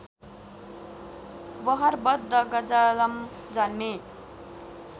बहरबद्ध गजलम जन्मेँ